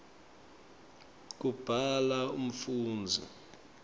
kubhala umfundzi